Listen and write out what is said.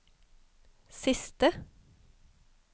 siste